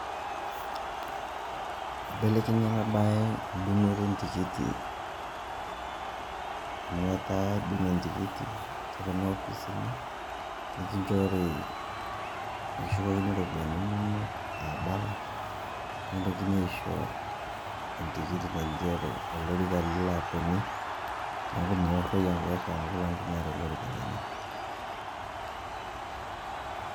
Ibelekenya ena baye dung'oto entikiti amu etaa edung' entikiti te kuna opisini nekinjori nekishukokini ropiani inonok a balance, nekintokini aisho entikiti naigero olorika lilo atonyie neeku meoroi eng'ari amu kila mtu neeta olorika lenye.